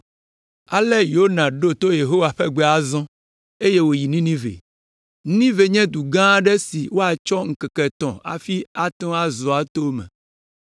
Ale Yona ɖo to Yehowa ƒe gbe azɔ, eye wòyi Ninive. Ninive nye du gã aɖe si woatsɔ ŋkeke etɔ̃ hafi azɔ ato eme.